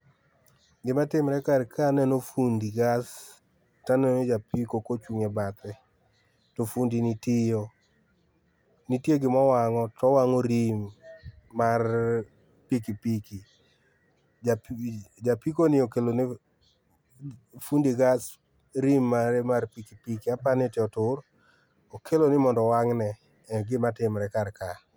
Gima timre kar ka aneno fundi gas taneno japiko kochung e bathe to fundi ni tiyo, nitie gima owang'o, towango rim mar pikipiki. Ja api, ja apikoni okelo ne fundi gas rim mare mar pikipiki aparoni otur, okeloni mondo owang' ne,e gima tiore kar ka